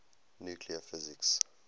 nuclear physics